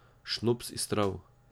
Šnops iz trav.